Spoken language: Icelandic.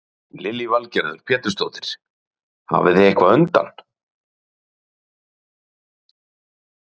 Lillý Valgerður Pétursdóttir: Hafið þið undan?